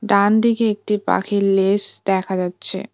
ডানদিকে একটি পাখির লেস দেখা যাচ্ছে।